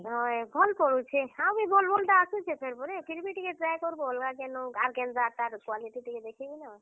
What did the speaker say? ହଏ ଭଲ ପଡୁଛେ, ଆଉ ବି ଭଲ ଭଲ ଟା ଆସୁଛେ ଫେର ପରେ, ଫିର୍ ଭି ଟିକେ try କରବ ଆର କାନ୍ତା ତାର quality ଟିକେ ଦେଖି କିନା।